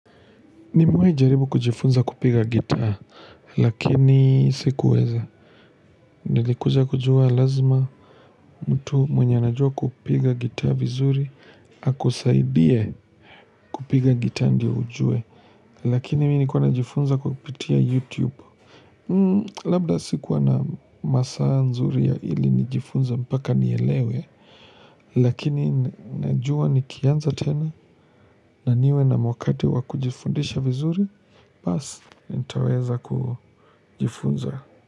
Nimewahi jaribu kujifunza kupiga gitaa lakini sikuweza nilikuja kujua lazima mtu mwenye anajua kupiga gitaa vizuri akusaidie kupiga gitaa ndiyo ujue lakini mimi nilikuwa najifunza kupitia youtube labda sikuwa na masaa nzuri ya ili nijifunza mpaka nielewe lakini najua nikianza tena na niwe na wakati wakujifundisha vizuri. Basi, nitaweza kujifunza.